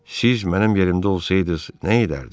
Siz mənim yerimdə olsaydız nə edərdiz?